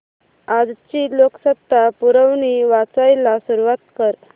आजची लोकसत्ता पुरवणी वाचायला सुरुवात कर